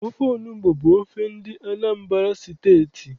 Ofe onugbu bụ ofe ndị Anambra steeti